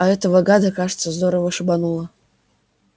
а этого гада кажется здорово шибануло